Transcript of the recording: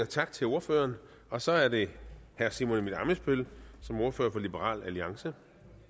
tak til ordføreren og så er det herre simon emil ammitzbøll som ordfører for liberal alliance